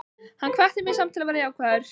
Hann hvatti mig samt til að vera jákvæður.